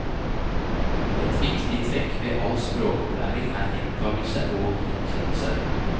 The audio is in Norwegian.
Et viktig trekk ved all språkopplæring er gjentagelse og gjenkjennelse.